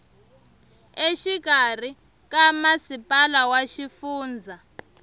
exikarhi ka masipala wa xifundza